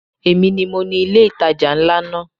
Èmi ni mo ni ilé ìtajà ńlá náà.